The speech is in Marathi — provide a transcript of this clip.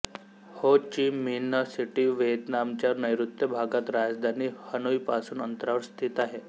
हो चि मिन्ह सिटी व्हियेतनामच्या नैऋत्य भागात राजधानी हनोईपासून अंतरावर स्थित आहे